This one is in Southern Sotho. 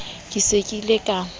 ke se ke ile ka